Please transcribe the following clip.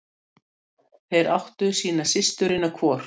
Þeir áttu sína systurina hvor.